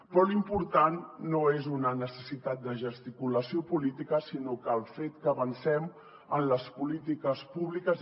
però l’important no és una necessitat de gesticulació política sinó el fet que avancem en les polítiques públiques